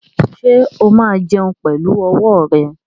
Ṣé ó máa jẹun pẹ̀lú ọwọ́ rẹ̀?